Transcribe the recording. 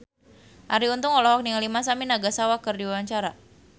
Arie Untung olohok ningali Masami Nagasawa keur diwawancara